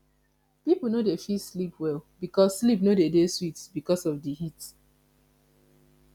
pipo no go fit sleep well because sleep no go dey sweet because of di heat